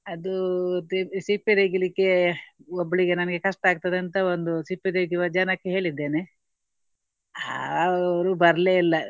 ಅದು ತೆ~ ಸಿಪ್ಪೆ ತೆಗಿಲಿಕ್ಕೆ ಒಬ್ಳಿಗೆ ನನಗೆ ಕಷ್ಟ ಆಗ್ತದಂತ ಒಂದು ಸಿಪ್ಪೆ ತೆಗೆಯುವ ಜನಕ್ಕೆ ಹೇಳಿದ್ದೇನೆ. ಅವರು ಬರ್ಲೇ ಇಲ್ಲ.